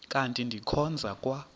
kanti ndikhonza kwa